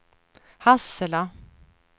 Hassela